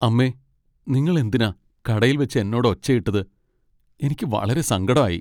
അമ്മേ! നിങ്ങൾ എന്തിനാ കടയിൽവച്ച് എന്നോട് ഒച്ചയിട്ടത് , എനിക്ക് വളരെ സങ്കടം ആയി .